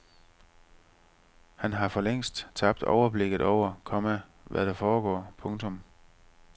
Han har for længst tabt overblikket over, komma hvad der foregår. punktum